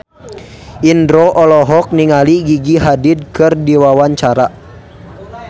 Indro olohok ningali Gigi Hadid keur diwawancara